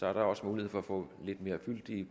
er der også mulighed for at få lidt mere fyldige